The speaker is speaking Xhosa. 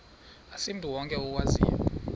asimntu wonke okwaziyo